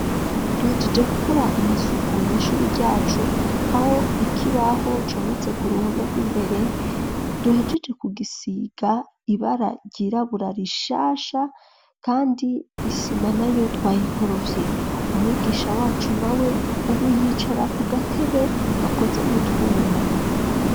Duhejeje gukora amasuku mw'ishuri ryacu awo ikibaho cometse ku ruhome rw'imbere duhejeje ku gisiga ibara ryirabura rishasha, kandi isima na yo twayikorovye umwigisha wacu na we, ubu uyicara ku gatebe gakoze mutwuma.